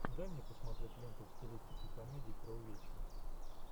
дай мне посмотреть ленту в стилистике комедии про увечья